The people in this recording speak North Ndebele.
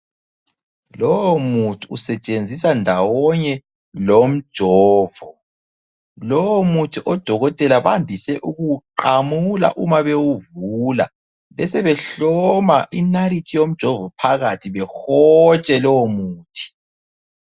Lowomuthi usetshenziswa ndawonye lomjovo. Lomuthi odokotela bandise ukuwuqamule uma bewuvula besebehloma inalithi yomjovo phakathi behotshe lowomuthi.